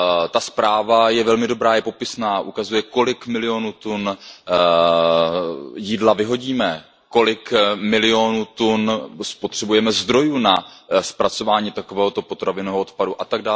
Ta zpráva je velmi dobrá, je popisná, ukazuje, kolik milionů tun jídla vyhodíme, kolik milionů tun zdrojů spotřebujeme na zpracování takového potravinového odpadu atd.